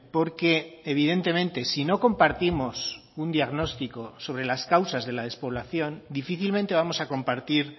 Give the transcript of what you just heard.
porque evidentemente si no compartimos un diagnóstico sobre las causas de la despoblación difícilmente vamos a compartir